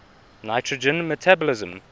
nitrogen metabolism